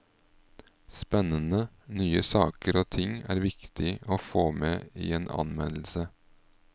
Spennende nye saker og ting er viktig å få med i en anmeldelse.